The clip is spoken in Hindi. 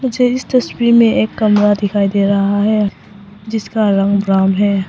मुझे इस तस्वीर में एक कमरा दिखाई दे रहा है जिसका रंग ब्राउन है।